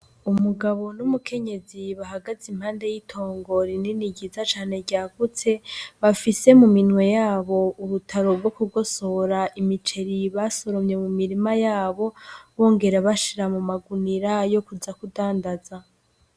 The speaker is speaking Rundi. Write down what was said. Umugabo n'umukenyezi bahagaze impande y'itongo rinini ryiza cane ryagutse, bafise muminwe yabo urutaro rwo kugosora imiceri basoromye mumirima yabo, bongera bashira mumagunira yo kuza kudandaza .